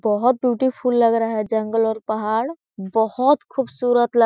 बोहत ब्यूटीफुल लग रहा है जंगल और पहाड़ बोहत खुबसूरत ल --